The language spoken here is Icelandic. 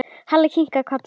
Halli kinkaði kolli.